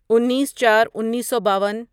انیس چار انیسو باون